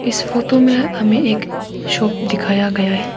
इस फोटो में हमें एक शॉप दिखाया गया है।